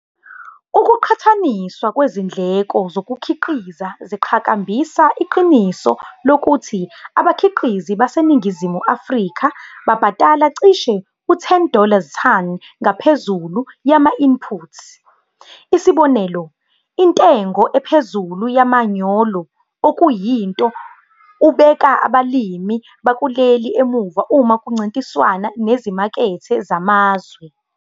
Ukuqhathaniswa kwezindleko zokukhiqiza ziqhakambisa iqiniso lokuthi abakhiqizi baseNingizimu Afrika babhadala cishe u-10 dollar-ton dollar-tonton ngaphezulu yama-input, isibonelo- intengo ephezulu kamanyolo, okuyinto ubeka abalimi bakuleli emuva uma kuncintiswana nezimakethe zamazwe.